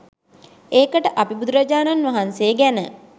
ඒකට අපි බුදුරජාණන් වහන්සේ ගැන .